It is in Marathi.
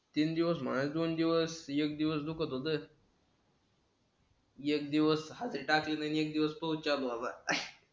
तीन दिवस मला दोन दिवस एक दिवस दुखत होत. एक दिवस हाजरी टाकली नाही. एक दिवस पाऊच चालू होता